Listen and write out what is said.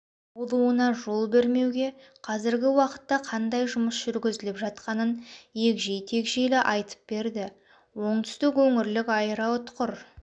болуына жол бермеуге қазіргі уақытта қандай жұмыс жүргізіліп жатқанын егжей-тегжейлі айтып берді оңтүстік өңірлік аэроұтқыр